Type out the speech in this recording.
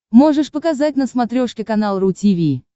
можешь показать на смотрешке канал ру ти ви